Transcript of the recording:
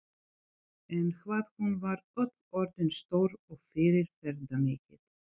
En hvað hún var öll orðin stór og fyrirferðarmikil.